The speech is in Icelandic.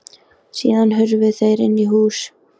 Síðan hurfu þeir inn í hús.